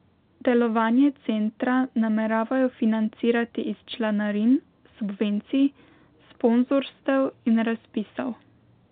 Delovanje centra nameravajo financirati iz članarin, subvencij, sponzorstev in razpisov.